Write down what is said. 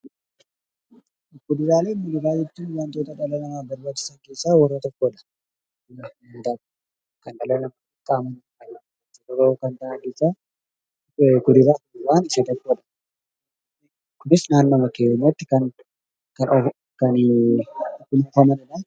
Kuduraalee fi Muduraaleen wantoota dhala namaaf barbaachisan keessaa warra tokkodha. Kunis naannoodhuma keenyatti kan guddifamanidha.